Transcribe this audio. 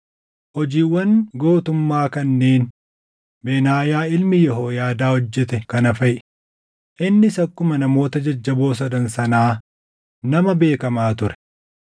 Hojiiwwan gootummaa kanneen Benaayaa ilmi Yehooyaadaa hojjete kana faʼi; innis akkuma namoota jajjaboo sadan sanaa nama beekamaa ture.